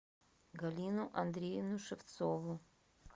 галину андреевну шевцову